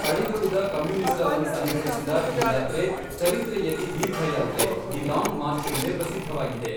ಅಳಿದುಳಿದ ಕಮ್ಯೂನಿಸ್ಟರನ್ನು ಸಂಘಟಿಸಿದ ಈ ಯಾತ್ರೆ ಚರಿತ್ರೆಯಲ್ಲಿ ದೀರ್ಘಯಾತ್ರೆ ದಿ ಲಾಂಗ್ ಮಾರ್ಚ್ ಎಂದೇ ಪ್ರಸಿದ್ಧವಾಗಿದೆ.